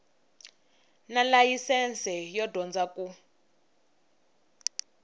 na layisense yo dyondza ku